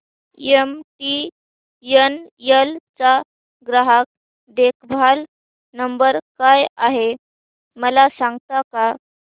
MTNL चा ग्राहक देखभाल नंबर काय आहे मला सांगता का